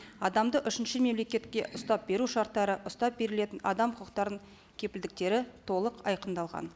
адамды үшінші мемлекетке ұстап беру шарттары ұстап берілетін адам құқықтарының кепілдіктері толық айқындалған